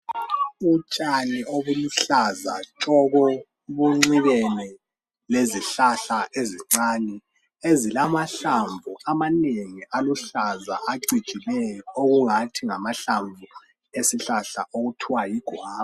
Utshani obuluhlaza tshoko bunxibene lezihlahla ezincane ezilamahlamvu amanengi aluhlaza acijileyo okungathi ngamahlamvu esihlahla okuthiwa yiguwava.